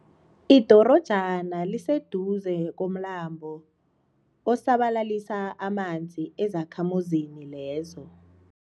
Idorojana liseduze komlambo osabalalisa amanzi ezakhamuzini lezo.